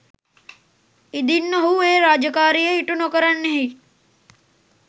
ඉදින් ඔහු ඒ රාජකාරිය ඉටු නොකරන්නෙහි